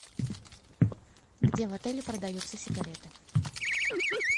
где в отеле продаются сигареты